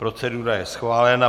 Procedura je schválena.